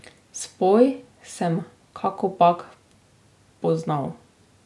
Spoj sem kakopak poznal.